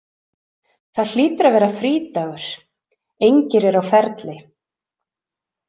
Það hlýtur að vera frídagur, engir eru á ferli.